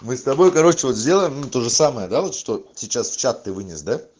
мы с тобой короче вот сделаем ну тоже самое да вот что сейчас в чат ты вынес да